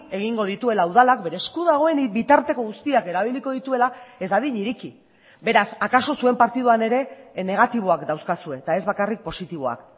egingo dituela udalak bere esku dagoen bitarteko guztiak erabiliko dituela ez dadin ireki beraz akaso zuen partiduan ere negatiboak dauzkazue eta ez bakarrik positiboak